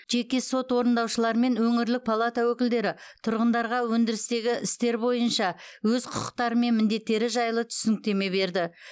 жеке сот орындаушылар мен өңірлік палата өкілдері тұрғындарға өндірістегі істер бойынша өз құқықтары мен міндеттері жайлы түсініктеме берді